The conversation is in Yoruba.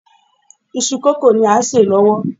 Iṣu kókò ni à ń sè lọ́wọ́